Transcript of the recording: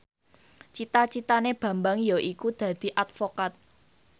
cita citane Bambang yaiku dadi advokat